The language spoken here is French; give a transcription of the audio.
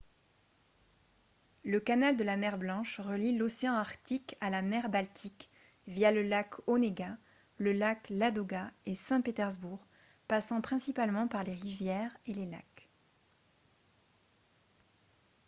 le canal de la mer blanche relie l'océan arctique à la mer baltique via le lac onega le lac ladoga et saint-pétersbourg passant principalement par les rivières et les lacs